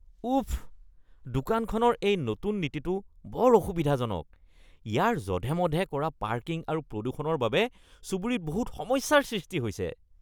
উফ! দোকানখনৰ এই নতুন নীতিটো বৰ অসুবিধাজনক। ইয়াৰ জধে-মধে কৰা পাৰ্কিং আৰু প্ৰদূষণৰ বাবে চুবুৰীত বহুত সমস্যাৰ সৃষ্টি হৈছে।